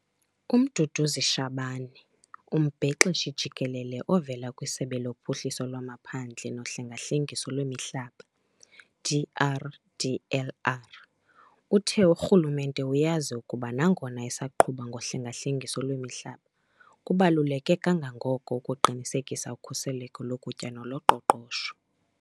UMduduzi Shabane, uMbhexeshi Jikelele ovela kwiSebe loPhuhliso lwamaPhandle noHlenga-hlengiso lwemiHlaba, DRDLR, uthe urhulumente uyazi ukuba nangona esaqhuba ngohlenga-hlengiso lwemihlaba kubaluleke kangangoko ukuqinisekisa ukhuseleko lokutya noloqoqosho.